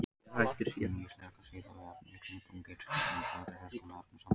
Hún víxlverkar síðan við efnið í kring og getur til dæmis valdið röskun á efnasamböndum.